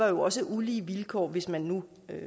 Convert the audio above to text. jo også er ulige vilkår hvis man nu